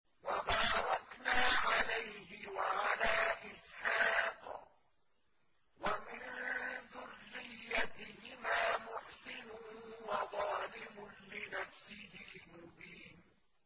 وَبَارَكْنَا عَلَيْهِ وَعَلَىٰ إِسْحَاقَ ۚ وَمِن ذُرِّيَّتِهِمَا مُحْسِنٌ وَظَالِمٌ لِّنَفْسِهِ مُبِينٌ